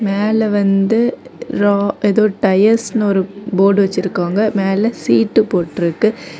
மேல வந்து ரா ஏதோ டயர்ஸ்னு ஒரு போர்டு வச்சிருக்காங்க மேல சீட்டு போட்டு இருக்கு.